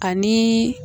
Ani